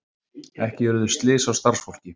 Ekki urðu slys á starfsfólki